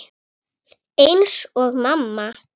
Ég gapti.